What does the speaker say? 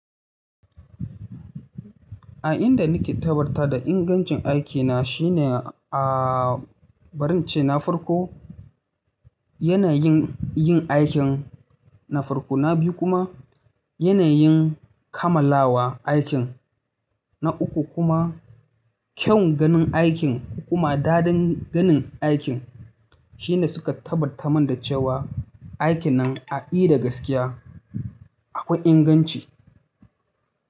A inda nake tabbatar da ingancin aikina shine a bari in ce na farko, yanayin yin aikin na farko, na biyu kuma, yanayin kammalawa aikin, na uku kuma kyan ganin aikin ko kuma daɗin ganin aikin shine suka tabbata min da cewa aikin nan a ida gaskiya akwai inganci.